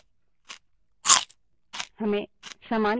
हमें समान परिणाम दिखता है